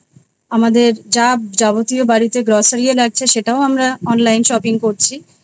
আমাদের যা যাবতীয় Grocery ও লাগছে সেটাও আমরা online Shopping করছি